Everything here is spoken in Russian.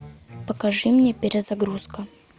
покажи мне перезагрузка